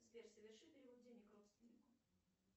сбер соверши перевод денег родственнику